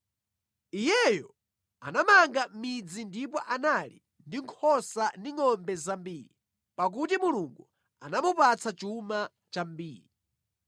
Iyeyo anamanga midzi ndipo anali ndi nkhosa ndi ngʼombe zambiri, pakuti Mulungu anamupatsa chuma chambiri.